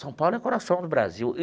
São Paulo é o coração do Brasil.